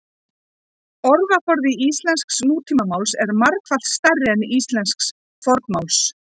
orðaforði íslensks nútímamáls er margfalt stærri en íslensks fornmáls